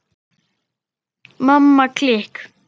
Mamma klikk!